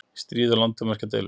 stríð og landamerkjadeilur.